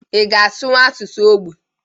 Ị ga asụnwu asụsụ ógbè?